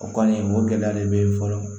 O kɔni o gɛlɛya de be fɔlɔ